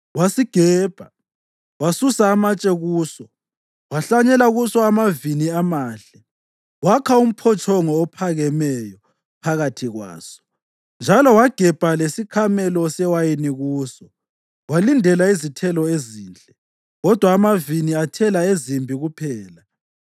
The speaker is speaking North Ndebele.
Wasigebha, wasusa amatshe kuso, wahlanyela kuso amavini amahle. Wakha umphotshongo ophakemeyo phakathi kwaso njalo wagebha lesikhamelo sewayini kuso. Walindela izithelo ezinhle, kodwa amavini athela ezimbi kuphela.